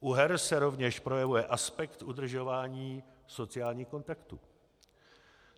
U her se rovněž projevuje aspekt udržování sociálních kontaktů.